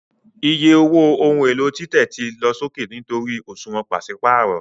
Iye owó ohun èlò títẹ̀ ti lọ sókè nítorí òṣùwọ̀n pàṣípààrọ̀